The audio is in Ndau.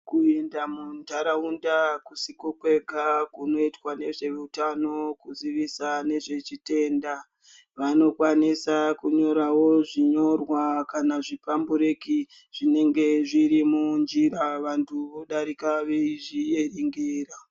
Kuenda muntaraunda akusiko kwega kunoitwa ngevezveutano kuziisa ngezvechitenda . Vanokwanisawo kunyora ngezvechinyorwa kana zvipambureki zvinenge zviri munjira antu odarika eizvierengera.